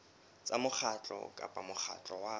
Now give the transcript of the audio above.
tsa mokgatlo kapa mokgatlo wa